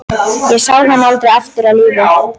Ég sá hann aldrei aftur á lífi.